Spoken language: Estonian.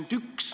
Palun!